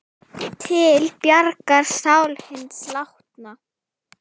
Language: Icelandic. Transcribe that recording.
Til bjargar sál hins látna.